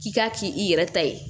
K'i k'a kɛ i yɛrɛ ta ye